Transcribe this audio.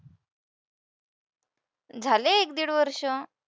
झाले एक-दीड वर्षं.